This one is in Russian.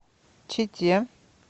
чите